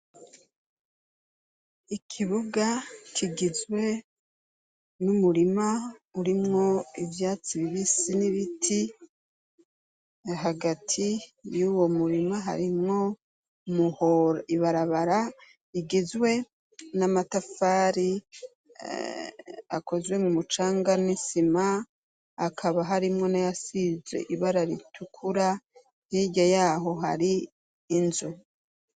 ikibuga kigizwe n'umurima urimwo ivyatsi bibisi n'ibiti hagati y'uwo murima harimwo muhoro ibarabara igizwe n'amatafari akozwe mu mucanga n'isima akaba harimwo n'ayasize ibara ritukura hirya yaho hari inzu